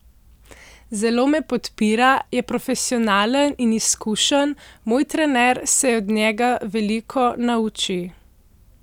Zelo me podpira, je profesionalen in izkušen, moj trener se od njega veliko nauči.